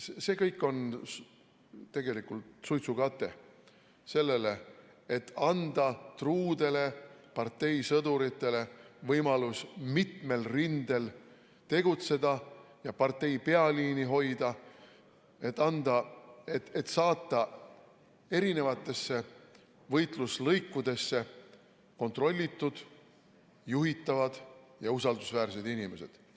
See kõik on tegelikult suitsukate sellele, et anda truudele parteisõduritele võimalus mitmel rindel tegutseda ja partei pealiini hoida, et saata erinevatesse võitluslõikudesse kontrollitud, juhitavad ja usaldusväärsed inimesed.